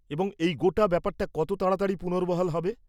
-এবং এই গোটা ব্যাপারটা কত তাড়াতাড়ি পুনর্বহাল হবে?